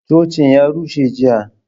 Cocin ya rushe jiya